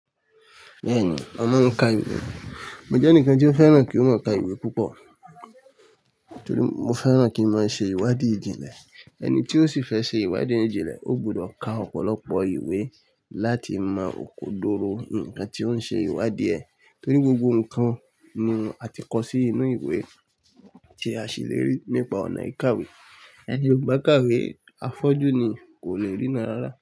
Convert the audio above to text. Bẹ́ẹ̀ni, wọ́n máa ń ka ìwé. Mo jẹ́ ẹnìkan tí ó fẹ́ràn kí o ma ka ìwé púpọ̀ torí mo fẹ́ràn kí maa ṣe ìwádìí ìjìnlẹ̀. Ẹni tí ó sì fẹ́ ṣe ìwádìí ìjìnlẹ̀, ó gbọdọ ka ọ̀pọ̀lọpọ̀ ìwé láti mọ òkòdoro ǹkan tí ó ń ṣe ìwádìí ẹ̀ torí gbogbo ǹkan ni a ti kọ sí inú ìwé tí a sì le rí nípa ọ̀nà ìkàwé. Ẹni ò bá kàwé afọ́jú ni kò le rí ran rárá.